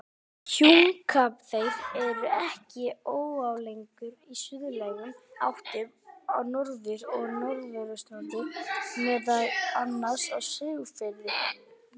Hnjúkaþeyr er ekki óalgengur í suðlægum áttum á Norður- og Norðausturlandi, meðal annars á Siglufirði.